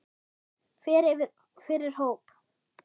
Fer fyrir hóp.